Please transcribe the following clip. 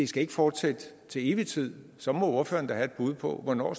skal fortsætte til evig tid så må ordføreren da have et bud på hvornår